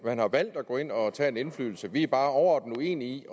at man har valgt at gå ind og tage noget indflydelse vi er bare overordnet uenige i